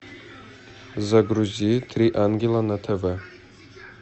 загрузи три ангела на тв